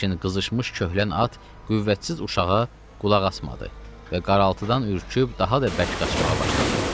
Lakin qızışmış köhlən at qüvvətsiz uşağa qulaq asmadı və qaraltıdan ürküb daha da bərk qaçmağa başladı.